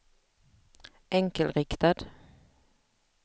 enkelriktad